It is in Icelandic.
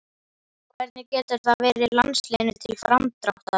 Hvernig getur það verið landsliðinu til framdráttar?